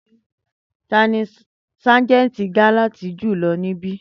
Tani sajenti galant julọ nibi